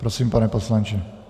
Prosím, pane poslanče.